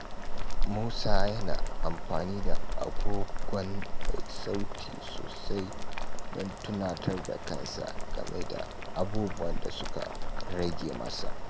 Musa yana amfani da agogon mai sauti sosai don tunatar da kansa game da abubuwan da suka rage masa.